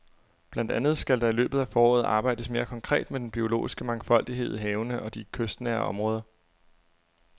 Blandt andet skal der i løbet af foråret arbejdes mere konkret med den biologiske mangfoldighed i havene og i de kystnære områder.